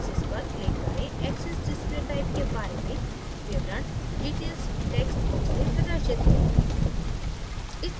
axesपर click करें axes display typeके बारे में विवरण detailsटेक्स्ट box में प्रदर्शित है